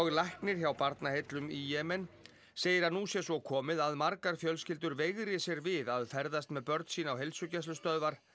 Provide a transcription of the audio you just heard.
læknir hjá Barnaheillum í Jemen segir að nú sé svo komið að margar fjölskyldur veigri sér við að ferðast með börn sín á heilsugæslustöðvar